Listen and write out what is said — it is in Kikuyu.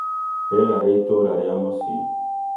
rĩera rĩa itũũra rĩa mũciĩ